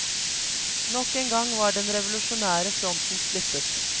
Nok en gang var den revolusjonære fronten splittet.